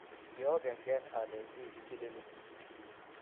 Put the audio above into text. kiokengen alenvhi kiichilil.